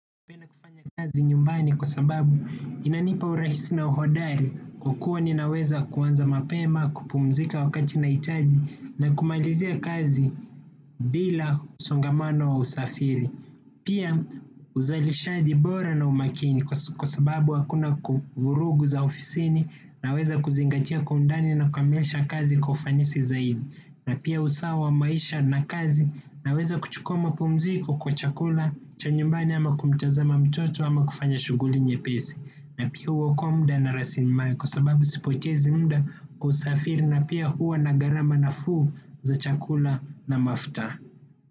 Kufanya kazi nyumbani kwa sababu inanipa urahisi na uhodari. Kukua ninaweza kuanza mapema, kupumzika wakati nahitaji na kumalizia kazi bila msongamano wa usafiri. Pia uzalishaji bora na umakini kwa sababu hakuna vurugu za ofisini naweza kuzingatia kwa undani na kukamilisha kazi kwa ufanisi zaidi na pia usawa wa maisha na kazi naweza kuchukua mapumziko kwa chakula cha nyumbani ama kumtazama mtoto ama kufanya shughuli nyepesi na pia uokoa muda na rasili mali kwa sababu sipotezi muda kusafiri na pia huwa na gharama nafuu za chakula na mafuta.